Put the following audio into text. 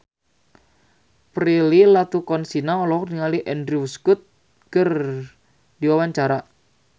Prilly Latuconsina olohok ningali Andrew Scott keur diwawancara